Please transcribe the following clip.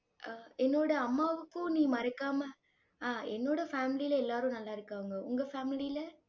ஆஹ் என்னோட அம்மாவுக்கு நீ மறக்காம அஹ் என்னோட family ல எல்லாரும் நல்லா இருக்காங்க. உங்க family ல?